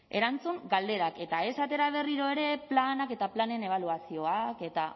erantzun galderak eta ez atera berriro ere planak eta planen ebaluazioak eta